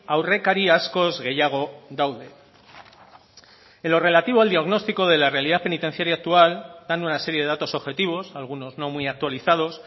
aurrekari askoz gehiago daude en lo relativo al diagnóstico de la realidad penitenciaria actual dan una serie de datos objetivos algunos no muy actualizados